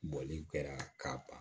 Bɔli kɛra ka ban